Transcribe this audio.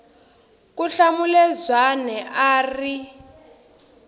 ku hlamula zwane a ri